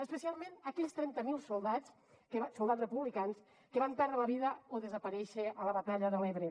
especialment aquells trenta mil soldats soldats republicans que van perdre la vida o van desaparèixer a la batalla de l’ebre